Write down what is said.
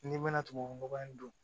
N'i ma tubabu nɔgɔ in don